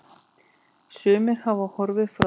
Sumir hafa horfið frá.